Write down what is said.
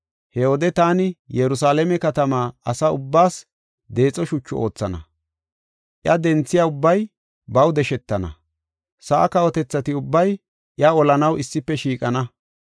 He wode taani Yerusalaame katamaa asa ubbaas deexo shuchu oothana; iya denthiya ubbay baw deshetana. Sa7aa kawotethati ubbay iya olanaw issife shiiqana.